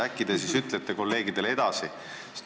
Äkki te ütlete siis kolleegidele selle sõnumi edasi.